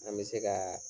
An bɛ se ka